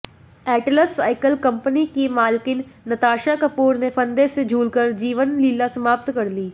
Atlas cycle company की मालकिन नताशा कपूर ने फंदे से झूलकर जीवनलीला समाप्त कर ली